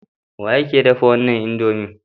Wa ya dafa wannan indomie?